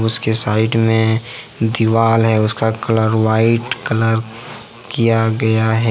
उसके साइड में दीवाल है उसका कलर व्हाइट कलर किया गया है।